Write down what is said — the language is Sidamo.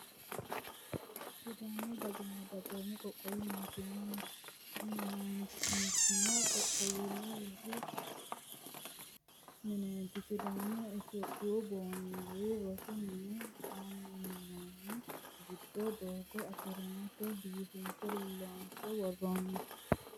Sidaamu dagoomi qoqqowi mootimma mintino qaaqquullu rosi mineeti. Sidaamunna itiyoophiyu baandiiri rosu mine xallinoonni. Giddo doogo asfaaltete biifinse loonse worroonni.